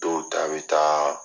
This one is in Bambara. Dow ta bɛ taa